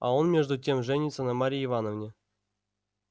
а он между тем женится на марье ивановне